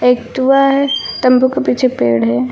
एक तुआ है तंबू के पीछे पेड़ है।